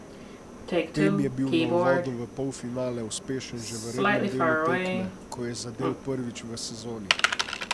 Pem je bil na uvodu v polfinale uspešen že v rednem delu tekme, ko je zadel prvič v sezoni.